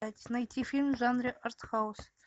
найти фильм в жанре артхаус